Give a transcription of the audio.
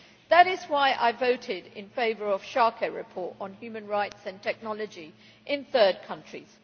That is why I voted in favour of the Schaake report on human rights and technology in third countries.